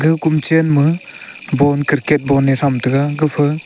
kon chen ma ball cricket ball a them tega gafa--